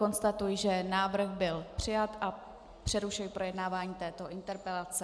Konstatuji, že návrh byl přijat, a přerušuji projednávání této interpelace.